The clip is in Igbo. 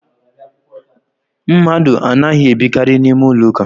Mmadụ anaghi ebikari n’ime ụlọ ụka